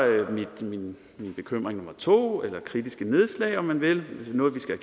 min bekymring nummer to eller kritiske nedslag om man vil noget vi skal